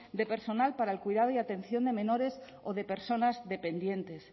de personal para el cuidado y atención de menores o de personas dependientes